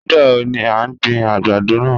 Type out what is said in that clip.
Nigbawo ni a n gbin agbado naa?